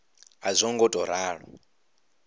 a zwo ngo tou ralo